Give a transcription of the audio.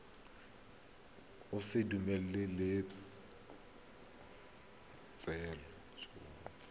o sa dumalane le tshwetso